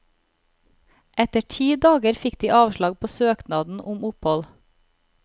Etter ti dager fikk de avslag på søknaden om opphold.